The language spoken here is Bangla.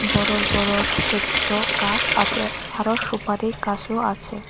বড় বড় ছোট ছোট গাছ আছে আরো সুপারি গাছও আছে।